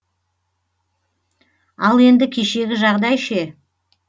ал енді кешегі жағдай ше